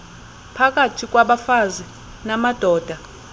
phakathi kwabafazi namadoda